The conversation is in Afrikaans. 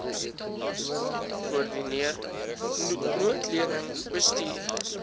koördineer noodleniging bestuur